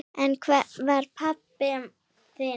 En hvar er pabbi þinn?